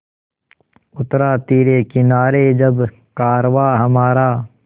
उतरा तिरे किनारे जब कारवाँ हमारा